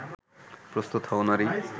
প্রস্তুত হও নারী